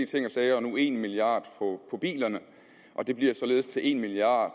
ting og sager og nu en milliard kroner på bilerne og det bliver således til en milliard